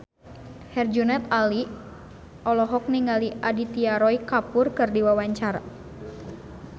Herjunot Ali olohok ningali Aditya Roy Kapoor keur diwawancara